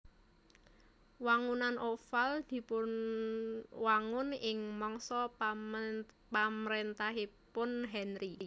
Wangunan Oval dipunwangun ing mangsa pamaréntahanipun Henri